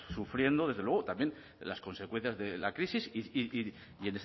sufriendo desde luego también las consecuencias de la crisis y